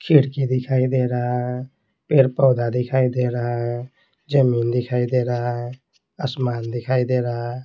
खिड़की दिखाई दे रहा है पेड़ -पौधा दिखाई दे रहा है जमीन दिखाई दे रहा है आसमान दिखाई दे रहा है।